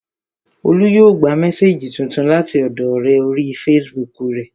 Olú yóò gba mésèjì tuntun láti ọ̀dọọ ọ̀rẹ́ orí fesibúùkù rẹ̀